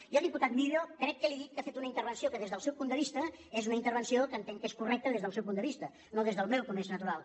jo diputat millo crec que li he dit que ha fet una intervenció que des del seu punt de vista és una intervenció que entenc que és correcta des del seu punt de vista no des del meu com és natural